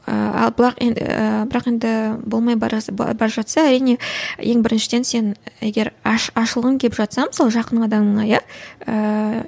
ыыы ал ы бірақ енді болмай бара жатса әрине ең біріншіден сен егер ашылғың келіп жатса мысалы жақын адамыңа иә ыыы